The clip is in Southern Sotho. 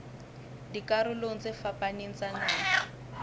dikarolong tse fapaneng tsa naha